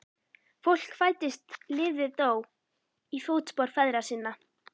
Fólk fæddist lifði dó í fótspor feðra sinna.